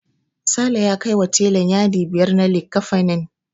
Sale ya kaiwa telan yadi biyar na likkafanin.